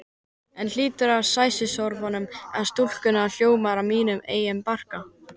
En hlátur sæsorfnu stúlkunnar hljómar í mínum eigin barka.